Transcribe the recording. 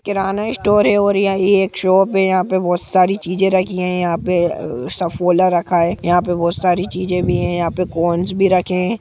किराना store है और यहाँ पे एक शॉप है यहाँ पे बहुत सारी चीजे रखी है यहाँ पे सुफ़ोला रखा है यहाँ पे बहोत सारी चीज़ें राखी भी है यहाँ पे कॉर्न्स भी रखे हैं।